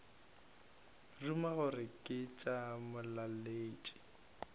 ruma gore ke tša molaletši